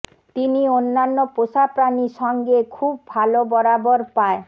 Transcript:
তিনি অন্যান্য পোষা প্রাণী সঙ্গে খুব ভাল বরাবর পায়